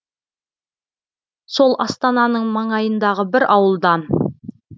сол астананың маңайындағы бір ауылдан